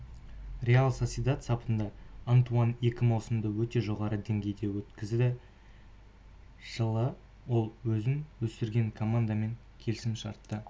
реал сосьедад сапында антуан екі маусымды өте жоғары деңгейде өткізді жылы ол өзін өсірген командамен келісім-шартты